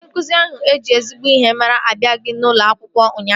Onye nkụzi ahụ eji ezigbo ihe mara abịaghị n'ulo akwụkwọ ụnyaahụ